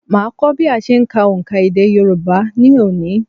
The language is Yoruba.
Màá kọ́ bí a se ń ka òǹkà èdè Yorùbá ní òní